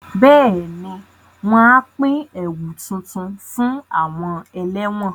Bẹ́ẹ̀ni, wọn a pín ẹ̀wu tuntun fún àwọn ẹlẹ́wọ̀n